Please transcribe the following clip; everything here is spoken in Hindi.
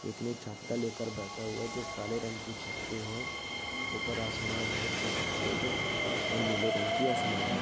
एक ने छत्ता लेकर बैठे हुए है जो काले रंग की छति है ऊपर आसमान है जो सफेद और नील रंग की असमाने है।